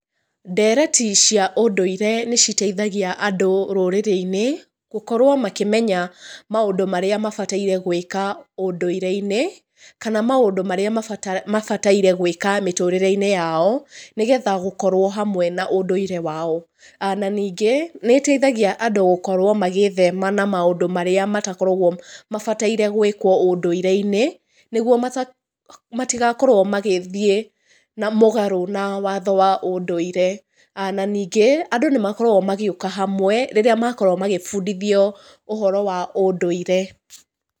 Ndereti cia ũndũire nĩ citeithagia andũ rũrĩrĩ-inĩ gũkorũo makĩmenya maũndũ marĩa mabataire gwĩka ũndũĩre-inĩ kana maũndũ marĩa mabataire gwĩka mĩtũrĩre-inĩ yao nĩgetha gũkorũo hamwe na ũndũire wao. Na ningĩ nĩ ĩteithagia andũ gũkorũo magĩthema na maũndũ marĩa matakóragwo matabataire gwĩkwo ũndũire-inĩ nĩgũo matigakorũo magĩthiĩ mũgarũ na watho wa ũndũire. Na ningĩ, andũ nĩ makoragũo magĩũka hamwe rĩrĩa makorwo magĩbundithio ũhoro wa ũndũire.